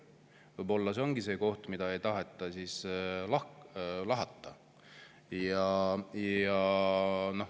Võib-olla see ongi see koht, mida ei taheta lahata.